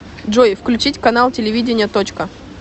джой включить канал телевидения точка